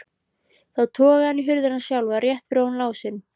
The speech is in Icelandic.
Þá togaði hann í hurðina sjálfa, rétt fyrir ofan lásinn.